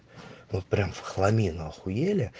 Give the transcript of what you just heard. вот прямо в хламину ахуел